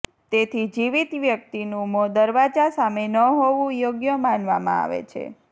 તેથી જીવિત વ્યક્તિનું મોં દરવાજા સામે ન હોવુ યોગ્ય માનવામાં આવે છે